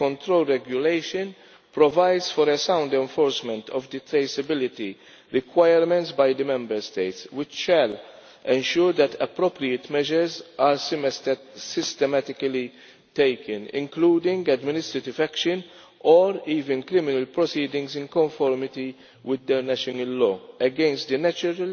The Control Regulation provides for a sound enforcement of the traceability requirements by the Member States which shall ensure that appropriate measures are systematically taken, including administrative action or even criminal proceedings in conformity with their national law against natural